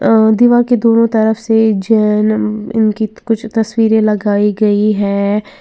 अ दीवार की दोनो तरफ से ज न उनकी कुछ तस्वीरे लगाई गई हैं।